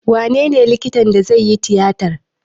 Wanene likitan da zai yi tiyatar?